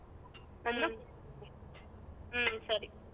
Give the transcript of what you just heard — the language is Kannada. ಹ್ಮ್ ಸರಿ.